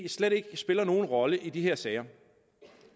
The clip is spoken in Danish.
slet ikke spiller nogen rolle i de her sager